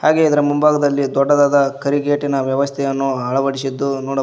ಹಾಗೆ ಇದರ ಮುಂಭಾಗದಲ್ಲಿ ದೊಡ್ಡದಾದ ಕರಿಗೇಟಿನ ವ್ಯವಸ್ಥೆಯನ್ನು ಅಳವಡಿಸಿದ್ದು ನೋಡ--